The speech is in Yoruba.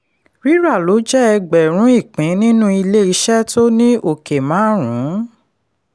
rírà lọ jẹ́ ẹgbẹ̀rún ìpín nínú ilé iṣẹ́ tó ní ọ̀kẹ́ márùn-ún.